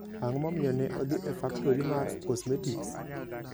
Ang'o momiyo ne odhi e faktori mar cosmetics?